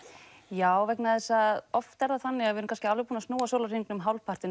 já vegna þess að oft er það þannig að við erun búin að snúa sólarhringnum